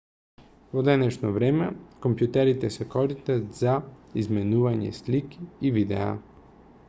во денешно време компјутерите се користат за изменување слики и видеа